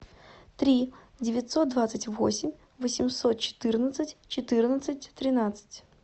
три девятьсот двадцать восемь восемьсот четырнадцать четырнадцать тринадцать